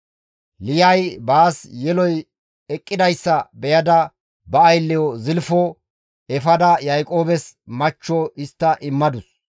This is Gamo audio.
Liyay baas yeloy eqqidayssa beyada ba aylleyo Zilfo efada Yaaqoobes machcho histta immadus.